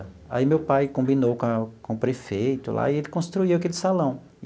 Aí meu pai combinou com a com o prefeito lá e ele construiu aquele salão.